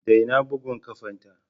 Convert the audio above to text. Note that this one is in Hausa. Daina bugun ƙafata!